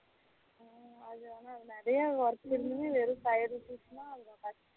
அது வந்து நிறைய work இருந்து வெறும் five rupees அது கஷ்டம்